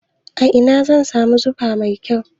A ina zan samu fiza mai kau?